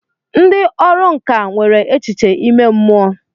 Ndị ọrụ nkà nwere echiche ime mmụọ.